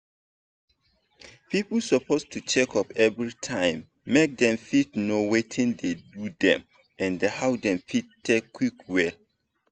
people suppose do checkup everytime make dem fit know watin dey do dem and how dem fit take quick well.